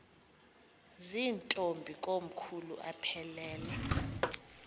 zirntombi komkhulu aphelela